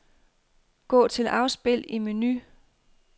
Gå til afspil i menu.